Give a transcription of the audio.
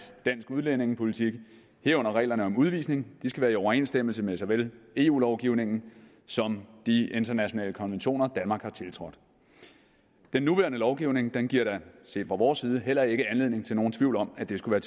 dansk udlændingepolitik herunder reglerne om udvisning skal være i overensstemmelse med såvel eu lovgivningen som de internationale konventioner danmark har tiltrådt den nuværende lovgivning giver set fra vores side heller ikke anledning til nogen tvivl om at det skulle